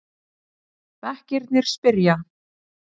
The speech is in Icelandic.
Bekkirnir spyrja!